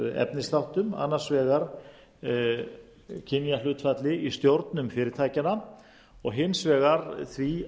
efnisþáttum annars vegar kynjahlutfalli í stjórnum fyrirtækjanna og hins vegar því